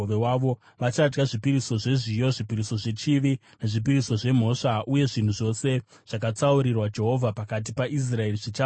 Vachadya zvipiriso zvezviyo, zvipiriso zvechivi nezvipiriso zvemhosva; uye zvinhu zvose zvakatsaurirwa Jehovha pakati paIsraeri zvichava zvavo.